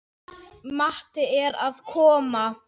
Matti er að koma!